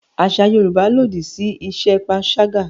Àṣà Yorùbá lòdì sí iṣẹ́ panṣágà